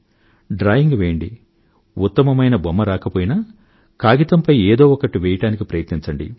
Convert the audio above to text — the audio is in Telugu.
డ్రాయింగ్ వెయ్యండి ఉత్తమమైన బొమ్మ రాకపోయినా కాయితంపై ఏదో ఒకటి వెయ్యడానికి ప్రయత్నించండి